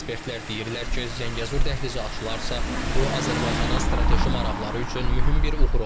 Ekspertlər deyirlər ki, Zəngəzur dəhlizi açılarsa, bu Azərbaycanın strateji maraqları üçün mühüm bir uğur olacaq.